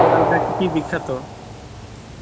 তাহলে কি কি বিখ্যাত?